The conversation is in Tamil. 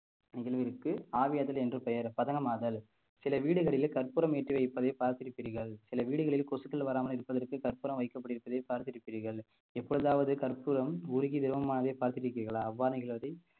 நிகழ்விற்கு ஆவியாதல் என்று பெயர் பதனமாதல் சில வீடுகளிலே கற்பூரம் ஏற்றி வைப்பதை பார்த்திருப்பீர்கள் சில வீடுகளில் கொசுக்கள் வராமல் இருப்பதற்கு கற்பூரம் வைக்கப்பட்டிருப்பதை பார்த்திருப்பீர்கள் எப்பொழுதாவது கற்பூரம் உருகி திரவமானதை பார்த்திருக்கிறீர்களா அவ்வாறு நிகழ்வதை